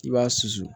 I b'a susu